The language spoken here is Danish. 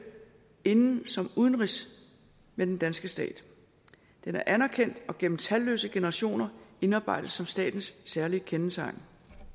inden som udenrigs med den danske stat den er anerkendt og gennem talløse generationer indarbejdet som statens særlige kendetegn